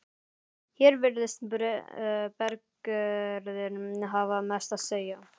Hér virðist berggerðin hafa mest að segja.